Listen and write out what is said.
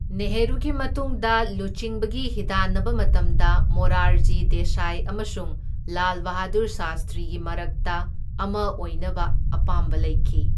ꯅꯦꯍꯔꯨꯒꯤ ꯃꯇꯨꯡꯗ ꯂꯨꯆꯤꯡꯕꯒꯤ ꯍꯤꯗꯥꯟꯅꯕ ꯃꯇꯝꯗ ꯃꯣꯔꯥꯔꯖꯤ ꯗꯦꯁꯥꯏ ꯑꯃꯁꯨꯡ ꯂꯥꯜ ꯕꯍꯥꯗꯨꯔ ꯁꯥꯁꯇ꯭ꯔꯤꯒꯤ ꯃꯔꯛꯇ ꯑꯃ ꯑꯣꯏꯅꯕ ꯑꯄꯥꯝꯕ ꯂꯩꯈꯤ꯫